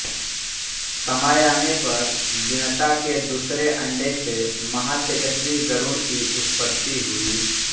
समय आने पर विनता के दूसरे अंडे से महातेजस्वी गरुड़ की उत्पत्ति हुई